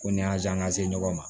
Ko ni y'a ye an ka se ɲɔgɔn ma